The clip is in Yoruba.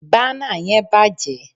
bana yen bàjé